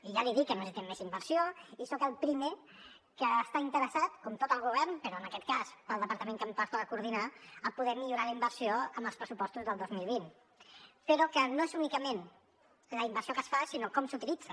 i ja li dic que necessitem més inversió i soc el primer que està interessat com tot el govern però en aquest cas pel departament que em pertoca coordinar a poder millorar la inversió amb els pressupostos del dos mil vint però que no és únicament la inversió que es fa sinó com s’utilitza